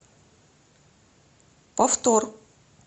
повтор